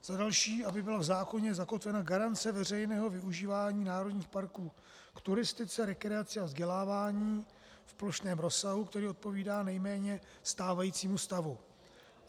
Za další, aby byla v zákoně zakotvena garance veřejného využívání národních parků k turistice, rekreaci a vzdělávání v plošném rozsahu, který odpovídá nejméně stávajícímu stavu.